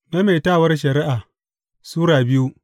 Maimaitawar Shari’a Sura biyu